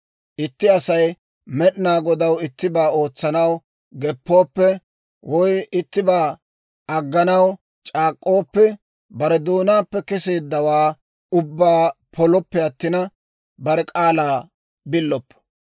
Itti Asay Med'inaa Godaw ittibaa ootsanaw geppooppe, woy ittibaa agganaw c'aak'k'ooppe, bare doonaappe kesseeddawaa ubbaa polooppe attina, bare k'aalaa billoppo.